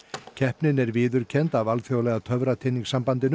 keppnin er viðurkennd af alþjóðlega